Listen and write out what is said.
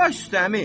Baş üstə, əmi!